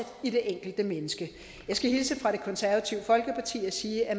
i det enkelte menneske jeg skal hilse fra det konservative folkeparti og sige at